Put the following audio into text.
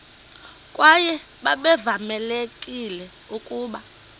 kwaye babevamelekile ukuba